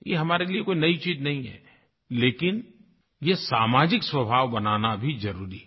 ये हमारे लिए कोई नयी चीज़ नहीं है लेकिन ये सामाजिक स्वभाव बनाना भी ज़रूरी है